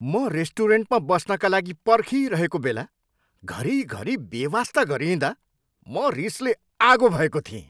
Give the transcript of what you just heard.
म रेस्टुरेन्टमा बस्नका लागि पर्खिरहेको बेला घरिघरि बेवास्ता गरिँइदा म रिसले आगो भएको थिएँ।